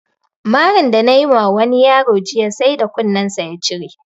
Marin da nayi ma wani yaro jiya sai da kunin sa ya cire